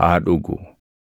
haa dhugu.